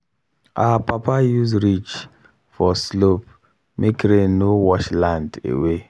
our papa use ridge for slope make rain no wash land away.